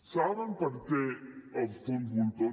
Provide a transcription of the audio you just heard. saben per què els fons voltor